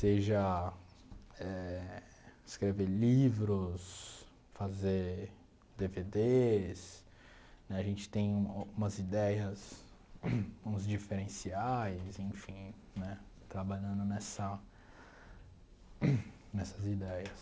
Seja eh escrever livros, fazer dê vê dês, né a gente tem umas ideias, uns diferenciais, enfim, né, trabalhando nessa nessas ideias.